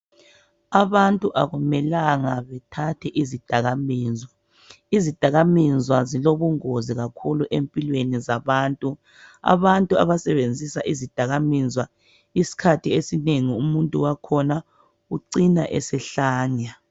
Abantu akumelanga bethathe izidakamizwa. Izidakamizwa zilongozi kakhulu empilweni zabantu. Abantu abasebenzisa izidakamizwa isikhathi esinengi umuntu wakhona ucina esehlanya.